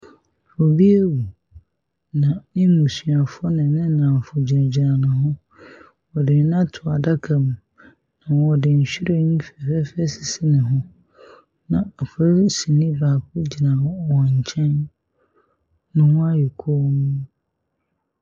Obi awu na n’abusuafo ne ne nnamfo wɔgyinagyina ho, wɔde no ato adaka mu, na na wɔde nhyiren fɛfɛɛfɛ asisi ne ho. Na polisini baako gyina wɔn nkyɛn na wɔn ayɛ komm.